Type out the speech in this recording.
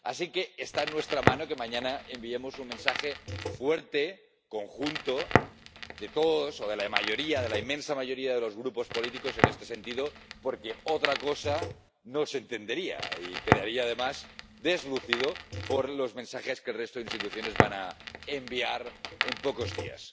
Así que está en nuestra mano que mañana enviemos un mensaje fuerte, conjunto, de todos o de la mayoría, de la inmensa mayoría de los grupos políticos en este sentido, porque otra cosa no se entendería y quedaría además deslucido por los mensajes que el resto de instituciones van a enviar en pocos días.